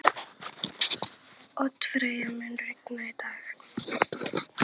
Oddfreyja, mun rigna í dag?